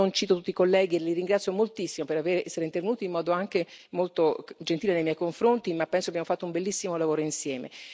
Non cito tutti i colleghi ma li ringrazio moltissimo per essere intervenuti, in modo anche molto gentile nei miei confronti, ma penso che abbiamo fatto un bellissimo lavoro insieme.